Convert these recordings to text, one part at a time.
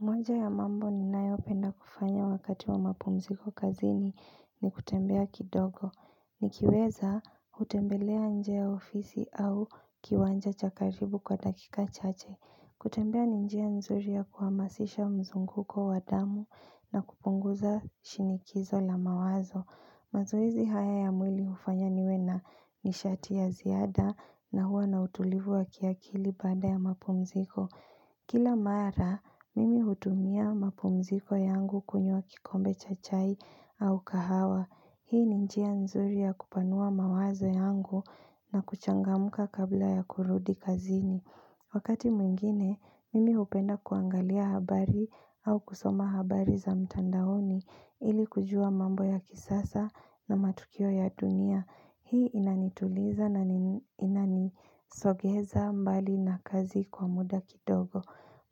Moja ya mambo ni nayo penda kufanya wakati wa mapumziko kazini ni kutembea kidogo Nikiweza utembelea nje ya ofisi au kiwanja chakaribu kwa dakika chache kutembea ninjia nzuri ya kuhamasisha mzunguko wadamu na kupunguza shinikizo la mawazo mazoezi haya ya mwili ufanya niwena ni shati ya ziada na huwa na utulivu wa kiakili baada ya mapumziko Kila mara, mimi hutumia mapumziko yangu kunywa kikombe cha chai au kahawa. Hii ni njia nzuri ya kupanua mawazo yangu na kuchangamka kabla ya kurudi kazini. Wakati mwingine, mimi upenda kuangalia habari au kusoma habari za mtandaoni ili kujua mambo ya kisasa na matukio ya dunia. Hii inanituliza na inanisogeza mbali na kazi kwa muda kidogo.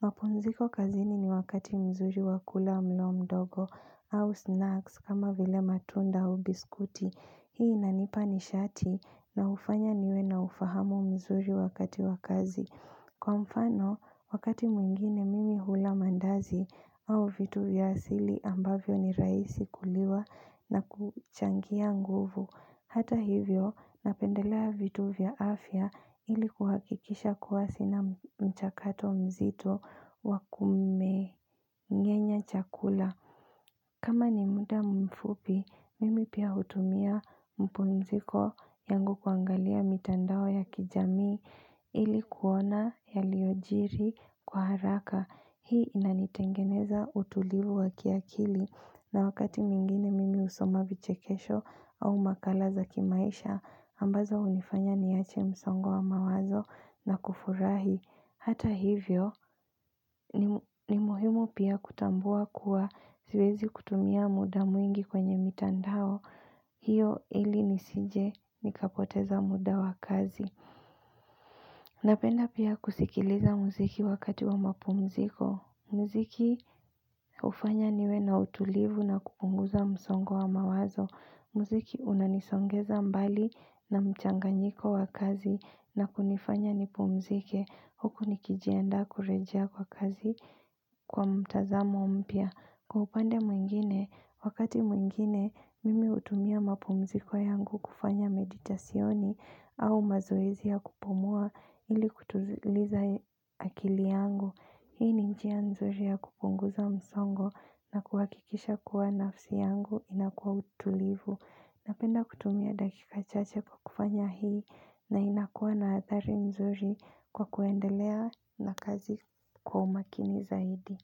Mapumziko kazini ni wakati mzuri wa kula mlo mdogo au snacks kama vile matunda au biskuti. Hii inanipa ni shati na ufanya niwe na ufahamu mzuri wakati wa kazi. Kwa mfano, wakati mwingine mimi hula mandazi au vitu vyasili ambavyo ni rahisi kuliwa na kuchangia nguvu. Hata hivyo, napendelea vitu vya afya ili kuhakikisha kuwa sina mchakato mzito wakume ngenya chakula. Kama ni muda mfupi, mimi pia hutumia mpumziko yangu kuangalia mitandao ya kijamii ili kuona yaliyojiri kwa haraka. Hii inanitengeneza utulivu wakia kili na wakati mwingine mimi usoma vichekesho au makala za kimaisha ambazo unifanya niache msongo wa mawazo na kufurahi. Hata hivyo ni muhimu pia kutambua kuwa ziwezi kutumia muda mwingi kwenye mitandao. Hiyo ili nisije nikapoteza muda wa kazi. Napenda pia kusikiliza muziki wakati wa mapumziko. Muziki ufanya niwe na utulivu na kupunguza msongo wa mawazo. Muziki unanisongeza mbali na mchanganyiko wa kazi na kunifanya nipumzike. Huku nikijiandaa kurejea kwa kazi kwa mtazamo mpia. Kwa upande mwingine, wakati mwingine, mimi utumia mapumziko yangu kufanya meditasyoni au mazoezi ya kupumua ili kutuliza akili yangu. Hii ni njia nzuri ya kupunguza msongo na kuhakikisha kuwa nafsi yangu inakuwa utulivu. Napenda kutumia dakika chache kwa kufanya hii na inakuwa na athari nzuri kwa kuendelea na kazi kwa umakini zaidi.